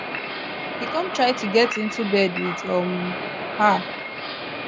e come try to get into bed with um her